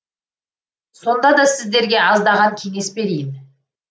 сонда да сіздерге аздаған кеңес берейін